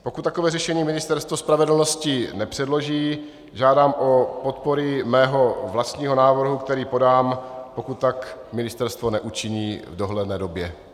Pokud takové řešení Ministerstvo spravedlnosti nepředloží, žádám o podporu mého vlastního návrhu, který podám, pokud tak ministerstvo neučiní v dohledné době.